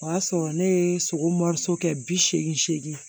O y'a sɔrɔ ne ye sogo kɛ bi seegin seegin